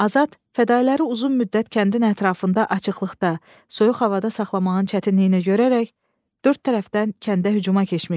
Azad fədailləri uzun müddət kəndin ətrafında açıqlıqda, soyuq havada saxlamağın çətinliyini görərək dörd tərəfdən kəndə hücuma keçmişdi.